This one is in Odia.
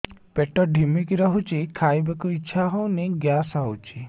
ପେଟ ଢିମିକି ରହୁଛି ଖାଇବାକୁ ଇଛା ହଉନି ଗ୍ୟାସ ହଉଚି